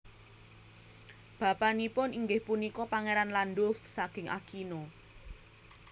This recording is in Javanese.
Bapanipun inggih punika Pangeran Landulf saking Aquino